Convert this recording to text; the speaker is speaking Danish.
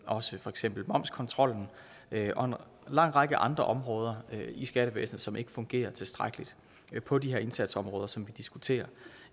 også for eksempel momskontrollen og en lang række andre områder i skattevæsenet som ikke fungerer tilstrækkeligt på de her indsatsområder som vi diskuterer